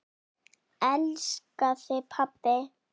Elska þig, pabbi.